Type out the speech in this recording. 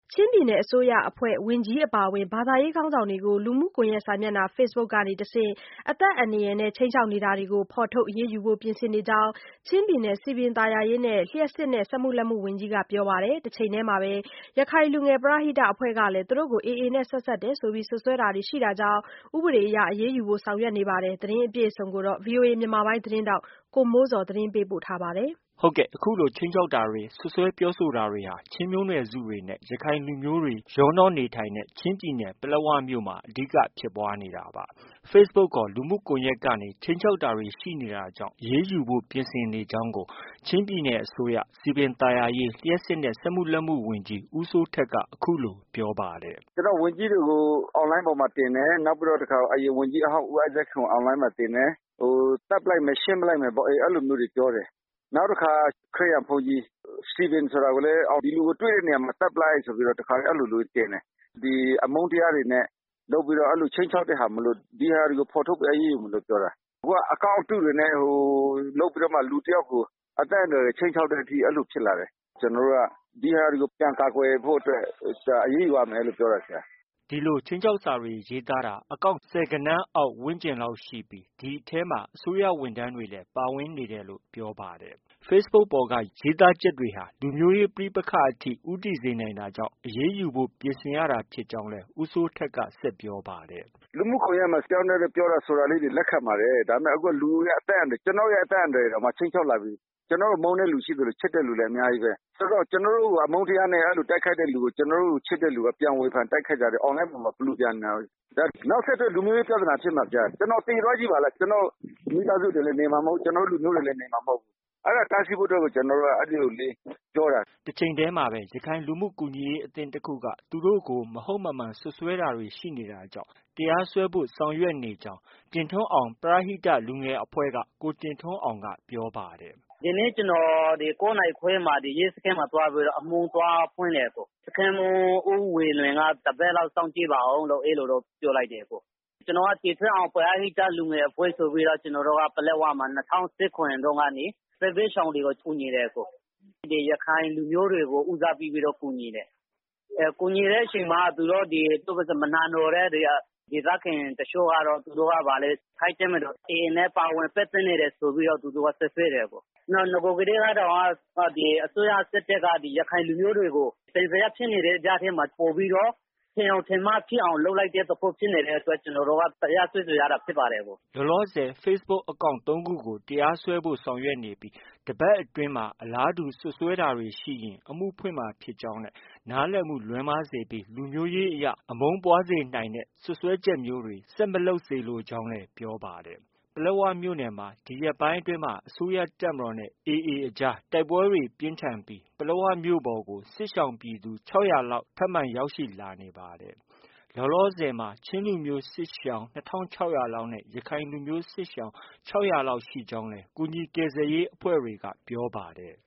ချင်းပြည်နယ် အစိုးရအဖွဲ့ ဝန်ကြီးအပါအဝင် ဘာသာရေးခေါင်းဆောင်တွေကို လူမှုကွန်ရက်စာမျက်နှာ facebook က တဆင့် အသက်အန္တရာယ် ခြိမ်းခြောက်နေတာတွေကို ဖော်ထုတ် အရေးယူဖို့ ပြင်ဆင်နေကြောင်း ချင်းပြည်နယ် စည်ပင်သာယာရေး၊ လျှပ်စစ်နဲ့ စက်မှုလက်မှု ဝန်ကြီးက ပြောပါတယ်။ တစ်ချိန်တည်းမှာပဲ ရခိုင်လူငယ်ပရဟိတအဖွဲ့ကလည်း သူတို့ကို AA နဲ့ ဆက်စပ်တယ်လို့ စွပ်စွဲတာတွေ ရှိနေတာကြောင့် ဥပဒေအရ အရေးယူဖို့ ဆောင်ရွက်နေပါတယ်။ ဒီသတင်းကို ဗွီအိုအေမြန်မာပိုင်းရဲ့ သတင်းထောက် ကိုမိုးဇော်က တင်ပြထားပါတယ်။ အခုလို ခြိမ်းခြောက်တာတွေ၊ စွပ်စွဲပြောဆိုတာတွေဟာ ချင်းမျိုးနွယ်စုတွေနဲ့ ရခိုင်လူမျိုးတွေ ရောနှောနေထိုင်တဲ့ ချင်းပြည်နယ် ပလက်ဝမြို့မှာ အဓိကဖြစ်ပွားနေတာပါ။ Facebook ခေါ် လူမှုကွန်ရက်ကနေ ခြိမ်းခြောက်တာတွေ ရှိနေတာကြောင့် အရေးယူဖို့ ပြင်ဆင်နေကြောင်းကို ချင်းပြည်နယ် အစိုးရ၊ စည်ပင်သာယာရေး၊ လျှပ်စစ်နဲ့ စက်မှုလက်မှု ဝန်ကြီး ဦးစိုးထက်က အခုလို ပြောပါတယ်။ “ကျနော်တို့ ဝန်ကြီးတွေကို online ပေါ်မှာ တင်တယ်။ နောက်တစ်ခါ အရင် ဝန်ကြီးဟောင်း ဦးအိုက်ဇက်ခင်ကို online ပေါ်မှာ တင်တယ်။ သတ်ပစ်လိုက်မယ်။ ရှင်းပစ်လိုက်မယ်ပေါ့ အဲလိုမျိုးတွေ ပြောတယ်။ နောက်တခါ ခရစ်ယာန်ဘုန်းကြီး စတီဗင်ကိုလည်း ဒီလူကို တွေ့တဲ့နေရာမှာ သတ်ပစ်လိုက်ဆိုပြီးတော့ အဲလိုမျိုးတွေ တင်တယ်။ ဒီအမုန်းတရားတွေနဲ့ လုပ်ပြီးတော့ ခြိမ်းခြောက်တဲ့ဟာမို့လို့ ဒီဟာတွေကို ဖော်ထုတ်ပြီး အရေးယူမယ်လို့ ပြောတာ။ အခုက account အတုတွေနဲ့ လုပ်ပြီးတော့မှ လူတစ်ယောက်ကို အသက်အန္တရာယ် ခြိမ်းခြောက်တဲ့အထိ အဲလို ဖြစ်လာတယ်။ ကျနော်တို့က ဒီဟာတွေကို ပြန်ကာကွယ်ဖို့အတွက် အရေးယူရမယ်လို့ အဲလို ပြောတာ။ ” ဒီလိုခြိမ်းခြောက်စာတွေ ရေးသားတာ account ဆယ်ဂဏန်းအောက် ဝန်းကျင်လောက်ရှိပြီး ဒီအထဲမှာ အစိုးရဝန်ထမ်းတွေပါ ပါဝင်နေတယ်လို့ ပြောပါတယ်။ Facebook ပေါ်က ရေးသားချက်တွေဟာ လူမျိုးရေး ပဋိပက္ခအထိ ဦးတည်စေနိုင်တာကြောင့် အရေးယူဖို့ ပြင်ဆင်ရတာ ဖြစ်ကြောင်းလည်း ဦးစိုးထက်က ဆက်ပြောပါတယ်။ “လူမှုကွန်ယက်မှာ တယောက်နဲ့ တယောက် ပြောတာ ဆိုတာတွေ လက်ခံပါတယ်။ အခုဟာ လူရဲ့ အသက်အန္တရာယ် ကျနော့် ရဲ့ အသက်အန္တရာယ်တောင် ခြိမ်းခြောက်လာပြီ။ ကျနော်ကို မုန်းတဲ့သူရှိသလို ချစ်တဲ့ သူလည်း အများကြီးပဲ။ ဆိုတော့ ကျနော်တို့ကို အမုန်းတရားနဲ့ တိုက်ခိုက်တဲ့သူကို ချစ်တဲ့သူက ပြန်ဝေဖန် တိုက်ခိုက်တာတွေ ပလူပျံနေတာပဲ။ ဒါ နောက်ဆက်တွဲ လူမျိုးရေးပြဿနာဖြစ်မှာ။ ကျနော် သေသွားကြည့်ပါလား ကျနော့် မိသားစုတွေလည်း နေမှာ မဟုတ်ဘူး။ ကျနော့် လူမျိုးတွေလည်း နေမှာ မဟုတ်ဘူး။ အဲဒါ တားဆီးဖို့အတွက်ကို ကျနော်တို့က အဲလို ပြောတာ။” တစ်ချိန်တည်းမှာပဲ ရခိုင်လူမှုကူညီရေးအသင်းတစ်ခုက သူတို့ကို မဟုတ်မမှန် စွပ်စွဲတာတွေ ရှိနေတာကြောင့် တရားစွဲဖို့ ဆောင်ရွက်နေကြောင်း တင်ထွန်းအောင် ပရဟိတ လူငယ်အဖွဲ့က ကိုတင်ထွန်းအောင်က ပြောပါတယ်။ “ဒီနေ့ ကျနော် ၉ နာရီခွဲမှာ ရဲစခန်းမှာ သွားပြီးတော့ အမှုသွားဖွင့်တယ်။ စခန်းမှူး ဦးဝေလွင် တပတ်လောက် စောင့်ကြည့်ပါအုံးလို့ အဲ့လိုပြောလိုက်တယ်။ ကျနော်က တင်ထွန်းအောင် ပရဟိတ လူငယ်အဖွဲ့ဆိုပြီး ၂၀၁၇ တုန်းကနေ စစ်ဘေးရှောင်တွေကို ကူညီတယ်။ ရခိုင်လူမျိုးတွေကို ဦးစားပေးပြီး ကူညီတယ်။ ကူညီတဲ့အချိန်မှာ မနာလိုတဲ့ ဒီ ဒေသခံတချို့က ရက္ခိုင်တပ်မတော် AA နဲ့ ပါဝင် ပတ်သက်နေတယ်ဆိုပြီး စွပ်စွဲတယ်။ နဂိုကတည်းကတောင် အစိုးရစစ်တပ်က ရခိုင်လူမျိုးတွေကို သံသယဖြစ်နေတဲ့ ကြားထဲမှာ ပိုပြီးတော့ ထင်ယောင်ထင်မှားဖြစ်အောင် လုပ်လိုက်တဲ့အတွက် ကျနော်က တရားစွဲဆိုရတာဖြစ်ပါတယ်။” လောလောဆည် facebook account သုံးခုကို တရားစွဲဖို့ ဆောင်ရွက်နေပြီး တပတ်အတွင်းမှာ အလားတူ စွပ်စွဲတာတွေ ရှိရင် အမှုဖွင့်မှာ ဖြစ်ကြောင်း၊ နားလည်မှု လွဲမှားစေပြီး လူမျိုးရေးအရ အမုန်းပွားစေနိုင်တဲ့ စွပ်စွဲချက်မျိုးတွေ ဆက်မလုပ်စေလိုကြောင်းလည်း ပြောပါတယ်။ ပလက်ဝမြို့နယ်မှာ ဒီရက်ပိုင်းအတွင်း အစိုးရတပ်မတော်နဲ့ AA အကြားတိုက်ပွဲတွေ ပြင်းထန်ပြီး ပလက်ဝမြို့ပေါ်ကို စစ်ရှောင်ပြည်သူ ၆၀၀ လောက် ထပ်မံေ ရောက်ရှိလာနေပါတယ်။ လောလောဆည်မှာ ချင်းလူမျိုး စစ်ရှောင် ၂၆၀၀ လောက်နဲ့ ရခိုင်လူမျိုးစစ်ရှောင် ၆၀၀ ကျော်လောက် ရှိနေကြောင်း ကူညီကယ်ဆယ်ရေးအဖွဲ့တွေက ပြောပါတယ်။